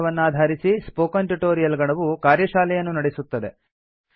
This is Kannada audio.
ಈ ಪಾಠವನ್ನಾಧಾರಿಸಿ ಸ್ಪೋಕನ್ ಟ್ಯುಟೊರಿಯಲ್ ಗಣವು ಕಾರ್ಯಶಾಲೆಯನ್ನು ನಡೆಸುತ್ತದೆ